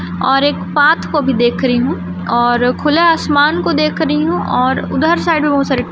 और एक पात को भी देख रही हूं और खुला आसमान को देख रही हूं और उधर साइड में बहुत--